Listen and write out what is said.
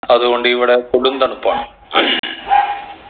അത്കൊണ്ട് ഇവിടെ കൊടും തണുപ്പാണ്